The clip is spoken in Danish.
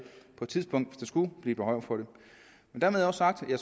tidspunkt skulle blive behov for det dermed også sagt at